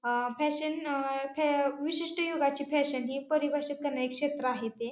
अ fashion अ फॅ विशिष्ट युगाची फॅशन हि परिभाषित करण्याचे क्षेत्र आहे ते--